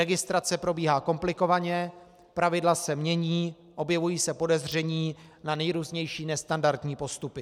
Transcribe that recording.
Registrace probíhá komplikovaně, pravidla se mění, objevují se podezření na nejrůznější nestandardní postupy.